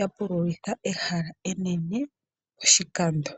yapululitha ehala enene poshikando.